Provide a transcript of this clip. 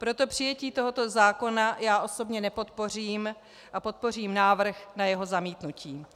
Proto přijetí tohoto zákona já osobně nepodpořím a podpořím návrh na jeho zamítnutí.